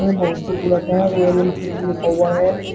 ये बहुत सी बुलेट है रॉयल एनफील्ड लिखा हुआ है।